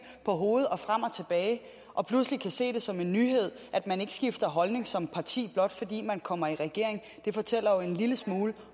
på hovedet og frem og tilbage og pludselig kan se det som en nyhed at man ikke skifter holdning som parti blot fordi man kommer i regering det fortæller jo en lille smule